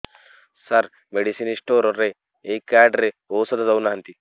ସାର medicine store ରେ ଏଇ card ରେ ଔଷଧ ଦଉନାହାନ୍ତି